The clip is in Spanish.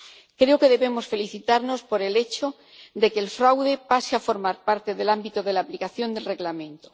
Creo que debemos felicitarnos por el hecho de que el fraude pase a formar parte del ámbito de aplicación del Reglamento.